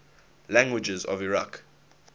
languages of iraq